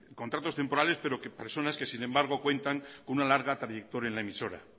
contratos temporales pero personas que sin embargo cuentan con una larga trayectoria en la emisora